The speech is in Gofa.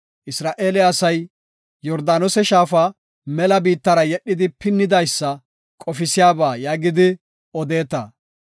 ‘Isra7eele asay Yordaanose shaafa mela biittara yedhidi pinnidaysa qofisiyaba’ yaagidi odeeta.